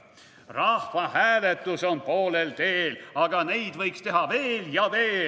/ Rahvahääletus on poolel teel, / aga neid võiks teha veel ja veel.